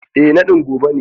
Eh naɗin gobe ne.